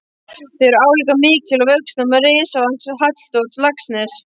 Þau eru álíka mikil að vöxtum og ritsafn Halldórs Laxness.